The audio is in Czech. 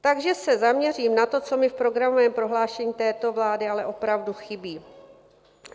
Takže se zaměřím na to, co mi v programovém prohlášení této vlády ale opravdu chybí.